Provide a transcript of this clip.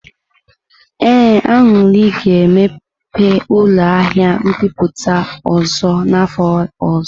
Ee, Aṅụri ga-emepe ụlọ ahịa mbipụta ọzọ n'afọ ọzọ.